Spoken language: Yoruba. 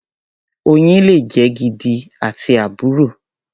Oyin le jẹ́ gidi àti àbùrọ.